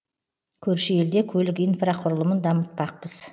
көрші елде көлік инфрақұрылымын дамытпақпыз